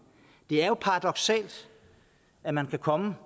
det er jo paradoksalt at man kan komme